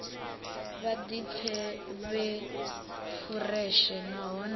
vha ḓipfe vhe fureshe nahone